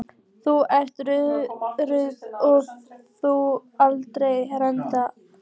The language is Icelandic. Þú ert ruddi og verður aldrei neitt annað en ruddi.